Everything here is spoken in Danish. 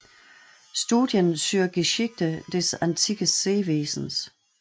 Studien zur Geschichte des Antikes Seewesens